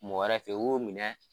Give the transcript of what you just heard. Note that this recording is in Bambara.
Mɔgɔ wɛrɛ fɛ yen o y'u minɛ.